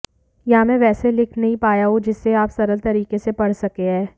या मै वैसे लिख नही पाया हूं जिसे आप सरल तरीके से पढ सके है